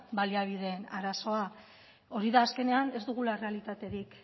baliabide arazoa hori da azkenean ez dugula errealitaterik